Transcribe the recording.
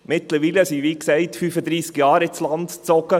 Mittlerweile sind, wie gesagt, 35 Jahre ins Land gezogen.